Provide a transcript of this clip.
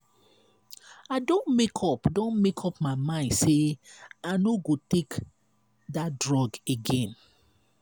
i don make up don make up my mind say i no go take dat drug again.